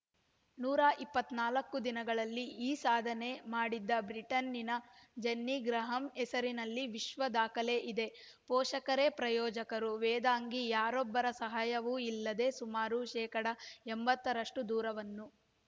ನೂರ ಇಪ್ಪತ್ತ್ ನಾಲ್ಕು ದಿನಗಳಲ್ಲಿ ಈ ಸಾಧನೆ ಮಾಡಿದ್ದ ಬ್ರಿಟನ್‌ನ ಜೆನ್ನಿ ಗ್ರಹಾಮ್‌ ಹೆಸರಲ್ಲಿ ವಿಶ್ವ ದಾಖಲೆ ಇದೆ ಪೋಷಕರೇ ಪ್ರಾಯೋಜಕರು ವೇದಾಂಗಿ ಯಾರೊಬ್ಬರ ಸಹಾಯವೂ ಇಲ್ಲದೆ ಸುಮಾರು ಶೇಕಡಾ ಎಂಬತ್ತರಷ್ಟು ದೂರವನ್ನು